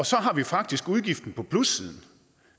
så har vi faktisk udgiften på plussiden